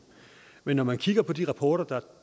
men når man kigger på de rapporter der